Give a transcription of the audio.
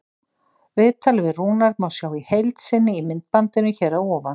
Viðtalið við Rúnar má sjá í heild sinni í myndbandinu hér að ofan.